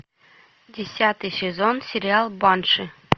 десятый сезон сериал банши